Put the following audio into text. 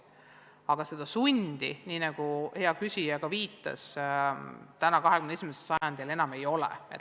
Aga seda sundi, nii nagu hea küsija viitas, 21. sajandil enam ei ole.